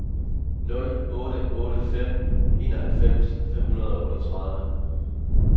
nul otte otte fem enoghalvfems fem hundrede og otteogtredive